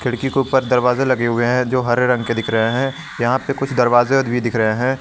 ऊपर दरवाजा लगे हुए हैं जो हरे रंग के दिख रहे हैं यहां पे कुछ दरवाजे और भी दिख रहे है।